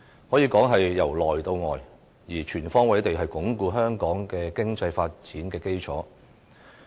可以說是由內到外，全方位地鞏固香港的經濟發展的基礎。